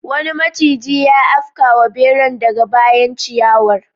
Wani maciji ya afkawa beran daga bayan ciyawar.